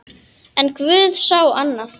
En guð sá annað.